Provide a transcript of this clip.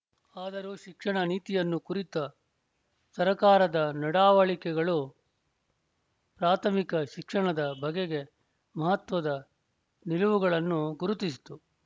ಅದರೂ ಶಿಕ್ಷಣ ನೀತಿಯನ್ನು ಕುರಿತ ಸರಕಾರದ ನಡಾವಳಿಕೆಗಳು ಪ್ರಾಥಮಿಕ ಶಿಕ್ಷಣದ ಬಗೆಗೆ ಮಹತ್ವದ ನಿಲುವುಗಳನ್ನು ಗುರುತಿಸಿತು